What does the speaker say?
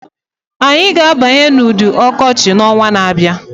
Anyị ga-abanye n'udu ọkọchị n'ọnwa na-abịa